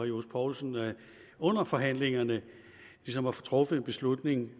johs poulsen under forhandlingerne ligesom at få truffet en beslutning